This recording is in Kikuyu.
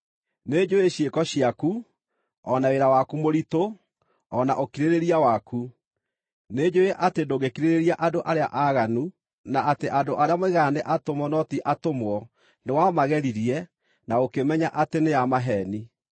Nĩnjũũĩ ciĩko ciaku, o na wĩra waku mũritũ, o na ũkirĩrĩria waku. Nĩnjũũĩ atĩ ndũngĩkirĩrĩria andũ arĩa aaganu, na atĩ andũ arĩa moigaga nĩ atũmwo no ti atũmwo nĩwamageririe, na ũkĩmenya atĩ nĩ a maheeni.